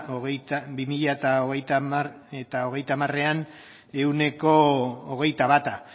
bi mila hogeita hamarean ehuneko hogeita bata